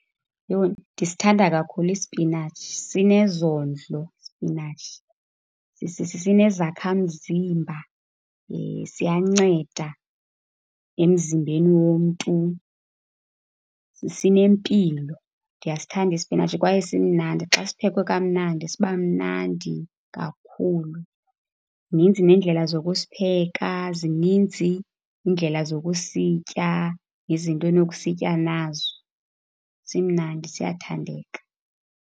Yho, ndisithanda kakhulu isipinatshi! Sinezondlo isipinatshi, sinezakhamzimba. Siyanceda emzimbeni womntu, sinempilo. Ndiyasithanda isipinatshi kwaye simnandi. Xa siphekwe kamnandi sibamnandi kakhulu. Zininzi neendlela zokusipheka, zininzi iindlela zokusitya nezinto onokusitya nazo. Simnandi, siyathandeka.